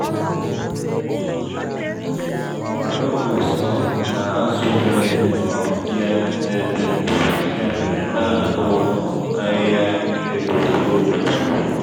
fungus um na-azụ onwe um ya n’ebe ndò ya mere na-akụ um ahịhịa elu ugboro ugboro.